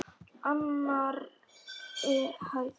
Annarri hæð.